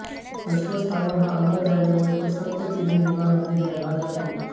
अश्वत्थामा हा अमर झाल्यामुळे तो सप्तचिरंजीवांमध्ये गणला जातो